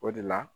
O de la